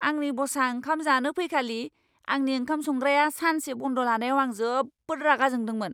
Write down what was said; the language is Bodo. आंनि बसआ ओंखाम जानो फैखालि आंनि ओंखाम संग्राया सानसे बन्द लानायाव आं जोबोद रागा जोंदोंमोन।